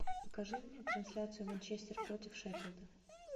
покажи мне трансляцию манчестер против шеффилда